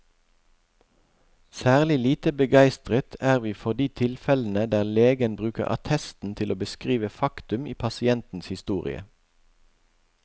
Særlig lite begeistret er vi for de tilfellene der legen bruker attesten til å beskrive faktum i pasientens historie.